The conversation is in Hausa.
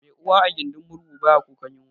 Mai uwa a gindin murhu baya kukan yunwa